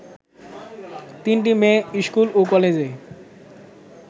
তিনটি মেয়ে স্কুল ও কলেজে